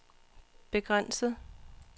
begrænset